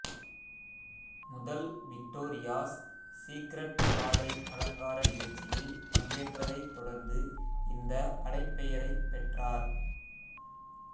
முதல் Victoria's secret ஆடை அலங்கார நிகழ்ச்சியில் பங்கேற்றதைத் தொடர்ந்து இந்த அடைப்பெயரைப் பெற்றார்